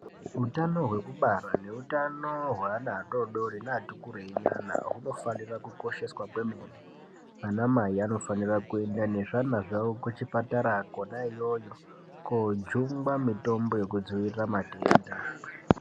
Utano hwekubara neutano hweana adodori neati kurei hunofanira kukosheswa kwemene anamai anofanira kuenda nezvana zvavo kuchipatara kwona iyoyo kundojungwa mutombo wokudziirira matenda .